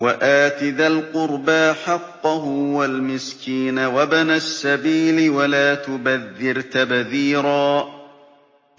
وَآتِ ذَا الْقُرْبَىٰ حَقَّهُ وَالْمِسْكِينَ وَابْنَ السَّبِيلِ وَلَا تُبَذِّرْ تَبْذِيرًا